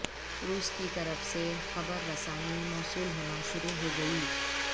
روس کی طرف سے خبر رسانی موصول ہونا شروع ہو گئی